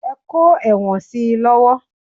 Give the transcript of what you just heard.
Ẹ kó ẹ̀wọ̀n si lọ́wọ́!